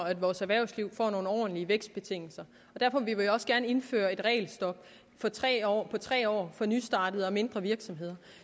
at vores erhvervsliv får nogle ordentlige vækstbetingelser og derfor vil vi jo også gerne indføre et regelstop på tre år tre år for nystartede og mindre virksomheder